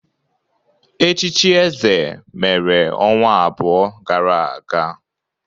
Echichi eze mere ọnwa abụọ gara aga